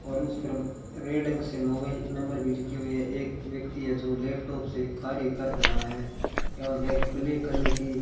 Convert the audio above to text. और उस पर रेडयन से मोबाइल नंबर भी लिखे हुए है एक व्यक्ति है जो लैपटॉप से कार्य कर रहा है एवं एक ब्लैक कलर की --